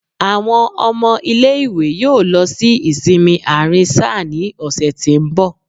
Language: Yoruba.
Awọn ọmọ ile-iwe yóò lọ si isinmi aarin-sáá ni ọsẹ ti n bọ.